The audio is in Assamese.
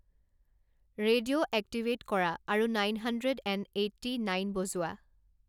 ৰেডিঅ' এক্টিভেট কৰা আৰু nine hundred and eighty nine বজোৱা